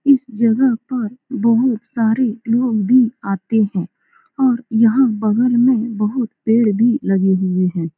इस जगह पर बहुत सारे लोग भी आते हैं और यहा बगल में बहुत पेड़ भी लगे हुए हैं ।